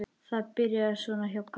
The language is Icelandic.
Þetta byrjaði svona hjá Kalla.